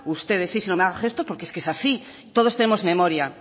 ustedes si no me haga gestos porque es que es así todos tenemos memoria